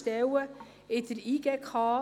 Sie hat das Wort.